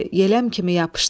Yeləm kimi yapışdı.